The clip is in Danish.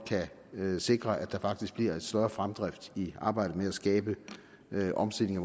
kan sikre at der faktisk bliver en større fremdrift i arbejdet med at skabe en omstilling